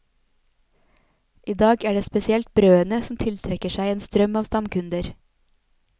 I dag er det spesielt brødene som tiltrekker seg en strøm av stamkunder.